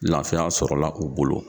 Laafiya sɔrɔ la u bolo.